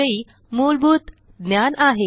विषयी मूलभूत ज्ञान आहे